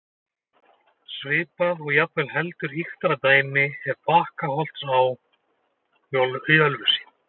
Svipað og jafnvel heldur ýktara dæmi er Bakkárholtsá í Ölfusi.